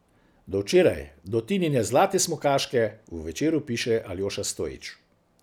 Do včeraj, do Tinine zlate smukaške, v Večeru piše Aljoša Stojič.